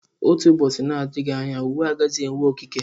Otu ụbọchị, nadịghị anya uwe agaghịzi enwe okike.